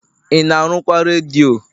ị na arụkwa redio?